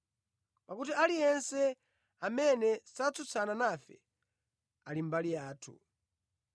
pakuti aliyense amene satsutsana nafe ali mbali yathu.